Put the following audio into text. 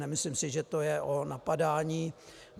Nemyslím si, že to je o napadání.